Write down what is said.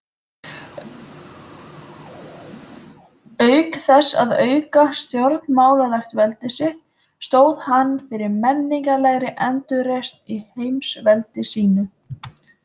Auk þess að auka stjórnmálalegt veldi sitt, stóð hann fyrir menningarlegri endurreisn í heimsveldi sínu.